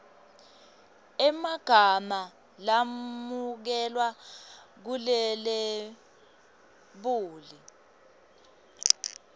emagama lamukelwe kulelebuli